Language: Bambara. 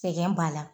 Sɛgɛn b'a la